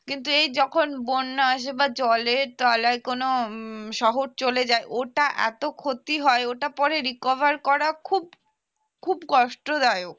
কিন্তু যখন বন্যা আসে বা জলের তলায় যখন কোন উম শহর চলে যায় ওটা এত ক্ষতি হয় ওটা পরে recover করা খুব খুব কষ্টদায়ক